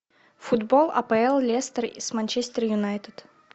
футбол апл лестер и с манчестер юнайтед